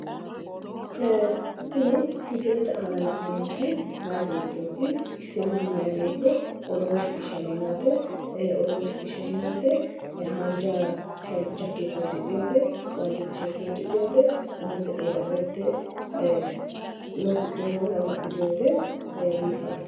Tini misilete aana la'neemmoti meyaa beetooti. tini meyaa beetto odoo shsiqqishshanni noote, haanja jakeetta udidhinote, waajjo tisherte uddidhinote, umose eela qoltte loosidhinote woyi amxitinote biifadote.